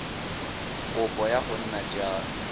kopo ya go nna jalo